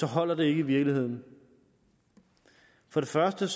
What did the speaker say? holder det ikke i virkeligheden for det første